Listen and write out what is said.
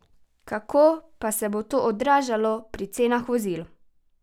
Kako pa se bo to odražalo pri cenah vozil?